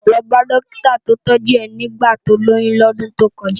Lò bá dòkitá tó tòjú è nigbá tó lóyùn ni òdùn tókòjá